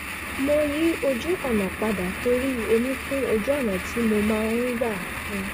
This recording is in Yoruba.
mo yí ojú-ọ̀nà padà torí omi kún ojú-ọ̀nà tí mo máa ń gbà